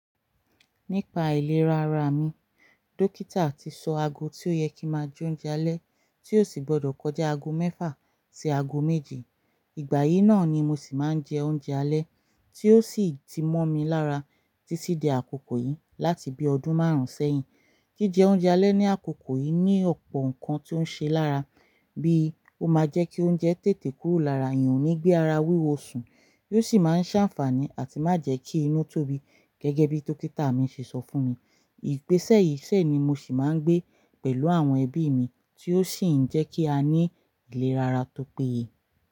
Nípa ìlera ara mi, dókítà ti sọ aago tí ó yẹ kí máa jẹ oúnjẹ alẹ́ tí ó sì gbọdọ̀ kọjá aago mẹ́fà sí aago méje. Ìgbà yìí náà ni mo sì máa ń jẹ oúnjẹ alẹ́ tí ó sì ti mọ́ mi lára títí di àkókò yìí láti bí ọdún márùn-ún sẹ́yìn. Jijẹ oúnjẹ alẹ́ ní àkókò yìí ní ọ̀pọ̀ nǹkan tí ó ṣe lára, bíi ó máa jẹ́ kí oúnjẹ tètè kúrò lára èèyàn ó ní gbé ara wíwọ osùn, yóò sì máa ń ṣàǹfààní àti má jẹ́ kí inú tóbi gẹ́gẹ́ bí dókítà mi ṣe sọ fún mi. Ìgbèsè yìí dẹ̀ ni mo sì máa ń gbé pẹ̀lú àwọn ẹbí mi tí ó sì ń jẹ́ kí a ní ìlera ara tó péye.